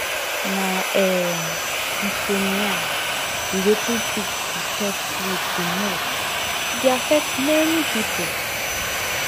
na um insomnia be wetin fit disturb sleep di most e dey affect many people